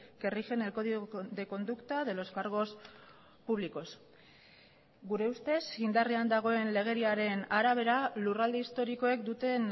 que rigen el código de conducta de los cargos públicos gure ustez indarrean dagoen legediaren arabera lurralde historikoek duten